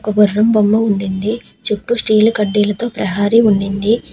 ఒక గుర్రం బొమ్మ ఉండింది. చుట్టూ స్టీల్ కడ్డీలతో ప్రహరీ ఉండింది.